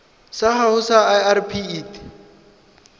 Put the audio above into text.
sa gago sa irp it